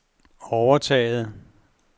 overtaget